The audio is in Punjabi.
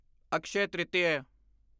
ਅਕਸ਼ਯ ਤ੍ਰਿਤੀਆ